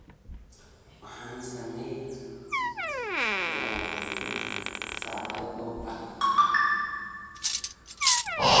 Waxaan samaynayey sac dhoobo ah.